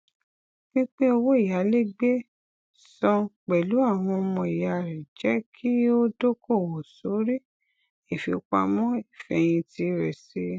pípín owó iyálégbé san pẹlú àwọn ọmọ ìyá rẹ jẹ kí ó dókòwò sórí ìfipamọ ìfẹhìntì rẹ sí i